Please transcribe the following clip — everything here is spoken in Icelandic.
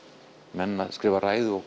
menn að skrifa ræður og